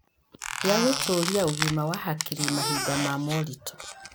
gĩa gũtũũria ũgima wa hakiri mahinda ma moritũ.